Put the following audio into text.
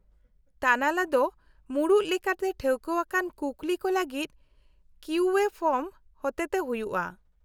-ᱛᱟᱱᱟᱞᱟ ᱫᱚ ᱢᱩᱲᱩᱫ ᱞᱮᱠᱟᱛᱮ ᱴᱷᱟᱹᱣᱠᱟᱹᱣᱟᱠᱟᱱ ᱠᱩᱠᱞᱤ ᱠᱚ ᱞᱟᱹᱜᱤᱫ ᱠᱤᱭᱩ ᱮᱹ ᱯᱷᱚᱨᱢ ᱦᱚᱛᱮᱛᱮ ᱦᱩᱭᱩᱜᱼᱟ ᱾